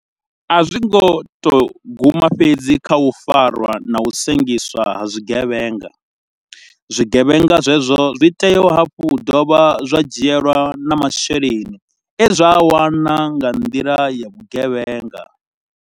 A zwi khou tou guma fhedzi kha u farwa na u sengiswa ha zwigevhenga, zwigevhenga zwezwo zwi vho tea hafhu u dovha zwa dzhielwa na masheleni e zwa a wana nga nḓila ya vhugevhenga.